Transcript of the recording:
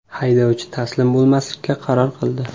Haydovchi taslim bo‘lmaslikka qaror qildi.